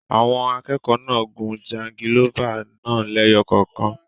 Àwọn akẹ́kọ̀ọ́ náà gun jangilófà náà lẹ́yọ kọ̀ọ̀kan.